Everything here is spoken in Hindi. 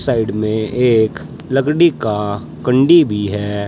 साइड में एक लकड़ी का कुंडी भी है।